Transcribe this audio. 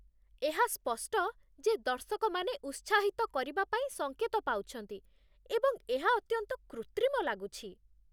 ଏହା ସ୍ପଷ୍ଟ ଯେ ଦର୍ଶକମାନେ ଉତ୍ସାହିତ କରିବା ପାଇଁ ସଙ୍କେତ ପାଉଛନ୍ତି ଏବଂ ଏହା ଅତ୍ୟନ୍ତ କୃତ୍ରିମ ଲାଗୁଛି